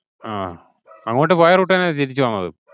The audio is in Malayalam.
ആഹ് അങ്ങോട്ട് പോയ route തന്നെ തിരിച്ചു വന്നത്.